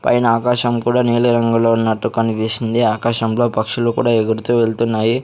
పైన ఆకాశం కూడా నీలి రంగులో ఉన్నట్టు కనిపిస్తుంది ఆకాశంలో పక్షులు కూడా ఎగురుతూ వెళ్తున్నాయి.